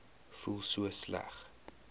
voel so sleg